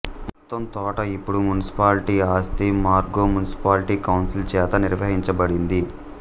మొత్తం తోట ఇప్పుడు మునిసిపాలిటీ ఆస్తి మార్గో మునిసిపాలిటీ కౌన్సిల్ చేత నిర్వహించబడింది